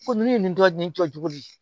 Ko nunnu ye nin tɔ nin jɔ cogo di